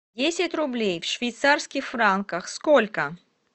десять рублей в швейцарских франках сколько